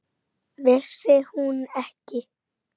En svona var þetta.